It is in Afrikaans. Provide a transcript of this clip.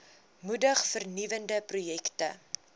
moedig vernuwende projekte